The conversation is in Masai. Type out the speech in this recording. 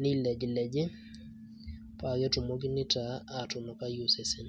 nilejileji, paketumokini taa atunukai osesen.